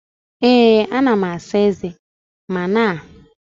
Ee ana m asa eze m na sinki di na ulo mpochi